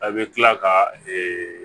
A bɛ tila ka